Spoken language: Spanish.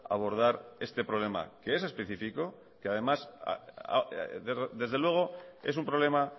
abordar este problema que es específico que desde luego es un problema